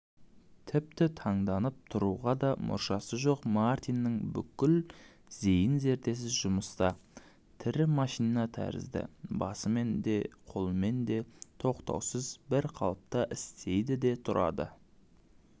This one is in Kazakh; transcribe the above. тіпті таңданып тұруға да мұршасы жоқ мартиннің бүкіл зейін-зердесі жұмыста тірі машина тәрізді басымен де қолымен де тоқтаусыз бір қалыпта істейді де тұрады